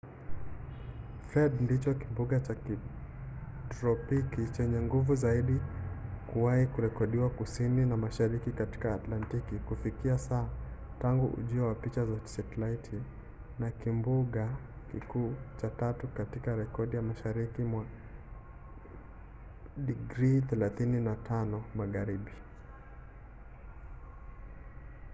fred ndicho kimbunga cha kitropiki chenye nguvu zaidi kuwahi kurekodiwa kusini na mashariki katika atlantiki kufikia sasa tangu ujio wa picha za setalaiti na kimbunga kikuu cha tatu tu katika rekodi mashariki mwa 35° magharibi